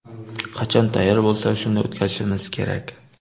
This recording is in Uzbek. Qachon tayyor bo‘lsak, shunda o‘tkazishimiz kerak.